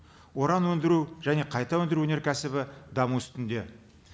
уран өндіру және қайта өндіру өнеркәсібі даму үстінде